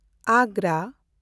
ᱟᱜᱽᱜᱨᱟ